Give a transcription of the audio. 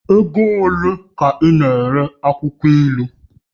Ego ole ka ị na-ere akwụkwọ ilu?